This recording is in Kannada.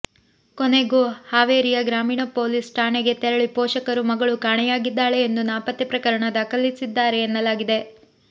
ಕೊನೆಗೂ ಹಾವೇರಿಯ ಗ್ರಾಮೀಣ ಪೊಲೀಸ್ ಠಾಣೆಗೆ ತೆರಳಿ ಪೋಷಕರು ಮಗಳು ಕಾಣೆಯಾಗಿದ್ಧಾಳೆ ಎಂದು ನಾಪತ್ತೆ ಪ್ರಕರಣ ದಾಖಲಿಸಿದ್ದಾರೆ ಎನ್ನಲಾಗಿದೆ